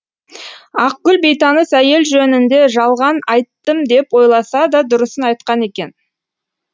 ақгүл бейтаныс әйел жөнінде жалған айттым деп ойласа да дұрысын айтқан екен